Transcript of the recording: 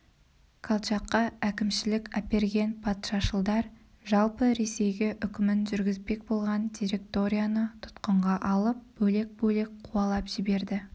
колчакқа әкімшілік әперген патшашылдар жалпы ресейге үкімін жүргізбек болған директорияны тұтқынға алып бөлек-бөлек қуалап жіберді